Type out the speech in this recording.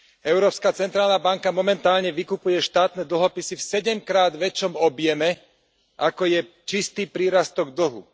Európska centrálna banka momentálne vykupuje štátne dlhopisy v sedemkrát väčšom objeme ako je čistý prírastok dlhu.